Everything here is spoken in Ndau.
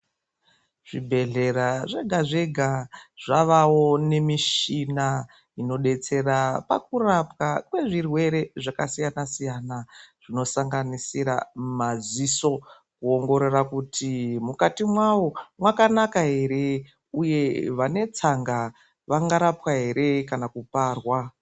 Zvibhedhlera zvega-zvega, zvavawo nemishina inodetsera pakurapwa kwezvirwere zvakasiyana-siyana, zvinosanganisira maziso, kuongorora kuti mukati mwawo mwakanaka ere, uye vane tsanga ,vangarapwa ere, kana kuparwa.